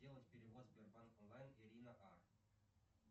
сделать перевод сбербанк онлайн ирина а